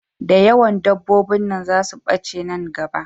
Da yawan dabobbin nan za su bace nan gaba